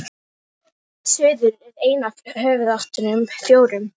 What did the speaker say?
suður er ein af höfuðáttunum fjórum